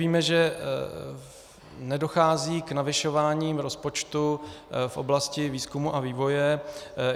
Víme, že nedochází k navyšování rozpočtu v oblasti výzkumu a vývoje.